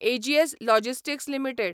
एजीस logistics limited